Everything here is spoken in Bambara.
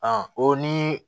o ni